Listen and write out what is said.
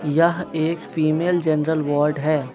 यह एक female general ward है।